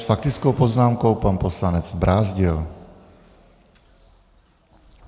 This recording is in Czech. S faktickou poznámkou pan poslanec Brázdil.